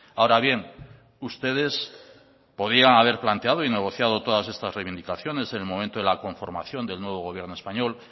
ahora bien ustedes podían haber planteado y negociado todas estas reivindicaciones en el momento de la conformación del nuevo gobierno español